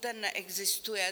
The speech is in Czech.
Ten neexistuje.